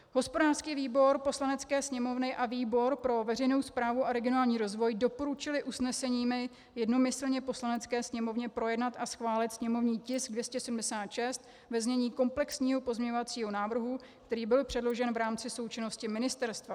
Hospodářský výbor Poslanecké sněmovny a výbor pro veřejnou správu a regionální rozvoj doporučily usneseními jednomyslně Poslanecké sněmovně projednat a schválit sněmovní tisk 276 ve znění komplexního pozměňovacího návrhu, který byl předložen v rámci součinnosti ministerstva.